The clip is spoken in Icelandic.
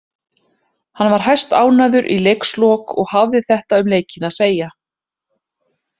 Hann var hæstánægður í leikslok og hafði þetta um leikinn að segja.